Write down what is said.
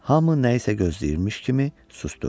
Hamı nəyisə gözləyirmiş kimi susdu.